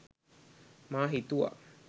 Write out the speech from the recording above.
මා හිතුවා